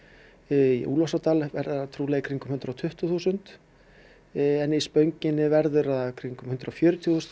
í verður það trúlega í kringum hundrað og tuttugu þúsund en í Spönginni verður það í kringum hundrað og fjörutíu þúsund